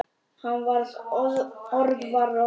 Hann var orðvar og orðfár.